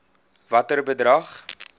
watter bedrag